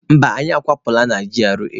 Mba, anyị akwapụla na GRA.